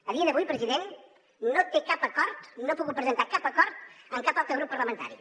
a dia d’avui president no té cap acord no ha pogut presentar cap acord amb cap altre grup parlamentari